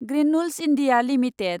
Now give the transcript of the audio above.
granules India limited